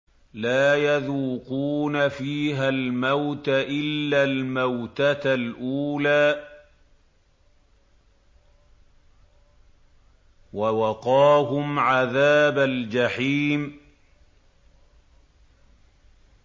لَا يَذُوقُونَ فِيهَا الْمَوْتَ إِلَّا الْمَوْتَةَ الْأُولَىٰ ۖ وَوَقَاهُمْ عَذَابَ الْجَحِيمِ